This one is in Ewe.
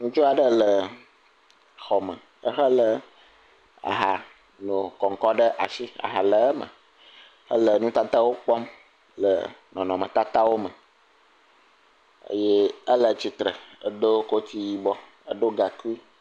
Ŋutsu aɖe le xɔme ehelé ahanokɔŋkɔ ɖe asi aha le eme ele nutatawo kpɔm le nɔnɔme\tatao me ye ele tsitre do koti yibɔ edo gaŋkui.